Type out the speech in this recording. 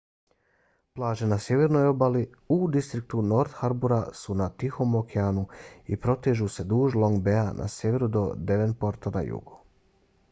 plaže na sjevernoj obali u distriktu north harbour su na tihom okeanu i protežu se duž long baya na sjeveru do devonporta na jugu